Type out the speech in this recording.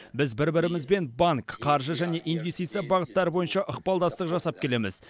біз бір бірімізбен банк қаржы және инвестиция бағыттары бойынша ықпалдастық жасап келеміз